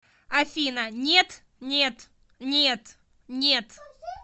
афина нет нет нет нет